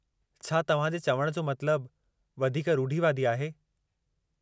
छा तव्हां जे चवण जो मतिलबु, वधीक रूढ़िवादी आहे?